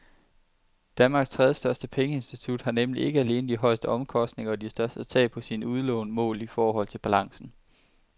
Danmarks tredjestørste pengeinstitut har nemlig ikke alene de højeste omkostninger og de største tab på sine udlån målt i forhold til balancen.